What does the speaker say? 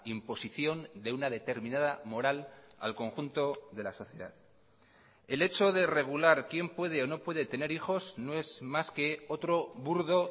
imposición de una determinada moral al conjunto de la sociedad el hecho de regular quién puede o no puede tener hijos no es más que otro burdo